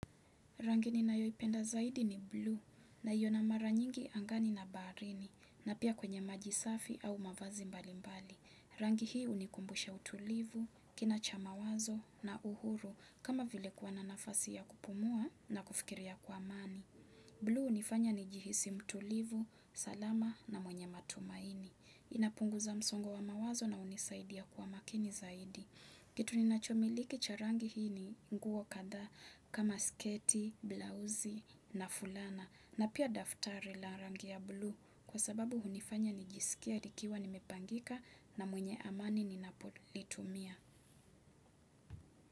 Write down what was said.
Rangi ninayoipenda zaidi ni bluu naiona mara nyingi angani na baharini na pia kwenye maji safi au mavazi mbali mbali. Rangi hii hunikumbusha utulivu, kina cha mawazo na uhuru kama vile kuwa na nafasi ya kupumua na kufikiria kwa amani. Bluu hunifanya nijihisi mtulivu, salama na mwenye matumaini. Inapunguza msongo wa mawazo na hunisaidia kwa makini zaidi. Kitu ninachomiliki cha rangi hii ni nguo kadhaa kama sketi, blouse na fulana na pia daftari la rangi ya blue kwa sababu hunifanya nijisikie nikiwa nimepangika na mwenye amani ninapolitumia.